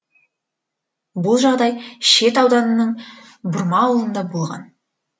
бұл жағдай шет ауданының бұрма ауылында болған